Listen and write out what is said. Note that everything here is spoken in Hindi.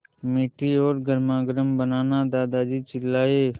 मीठी और गर्मागर्म बनाना दादाजी चिल्लाए